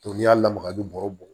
n'i y'a lamaga ni bɔrɛ bɔ